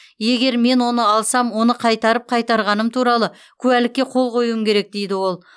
егер мен оны алсам оны қайтарып қайтарғаным туралы куәлікке қол қоюым керек дейді ол